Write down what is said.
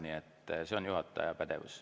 Nii et see on juhataja pädevuses.